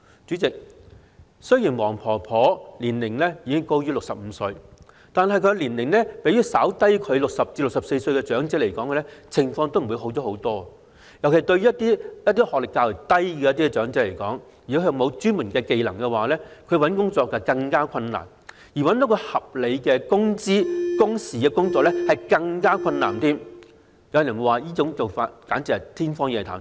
主席，雖然黃婆婆的年齡已高於65歲，但年齡比她稍低的60歲至64歲長者，情況也好不了多少，尤其是一些學歷較低及缺乏專門技能的長者，求職十分困難，而要找到一份提供合理工資及工時的工作則難上加難，有人甚至說是天方夜譚。